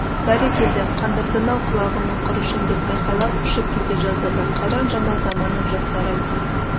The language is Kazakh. бәрекелді қандырдың-ау құлағымның құрышын деп айқайлап ұшып кете жаздады қайран жаңа заманның жастары-ай